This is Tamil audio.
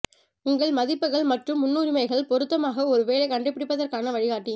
உங்கள் மதிப்புகள் மற்றும் முன்னுரிமைகள் பொருத்தமாக ஒரு வேலை கண்டுபிடிப்பதற்கான வழிகாட்டி